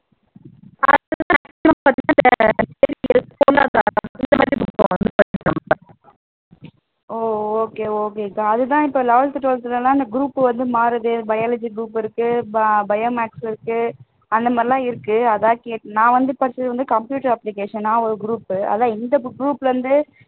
ஓ okay okay க்கா அதுதான் இப்போ eleventh twelfth ல எல்லாம் இந்த group வந்து மாறுதே biology group இருக்கு bio maths இருக்கு அந்த மாதிரி எல்லாம் இருக்கு அதான் கேட்டேன் நான் வந்து படிச்சது computer application நான் ஒரு group அதான் இந்த group ல இருந்து